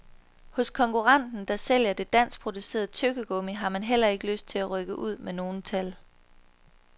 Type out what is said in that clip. Hos konkurrenten, der sælger det danskproducerede tyggegummi, har man heller ikke lyst til at rykke ud med nogen tal.